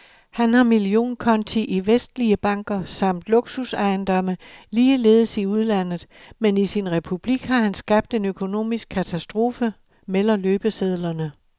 Han har millionkonti i vestlige banker samt luksusejendomme, ligeledes i udlandet, men i sin republik har han skabt en økonomisk katastrofe, melder løbesedlerne.